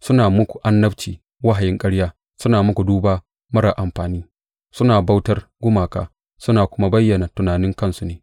Suna muku annabci wahayin ƙarya, suna muku duba marar amfani, suna bautar gumaka suna kuma bayyana tunanin kansu ne.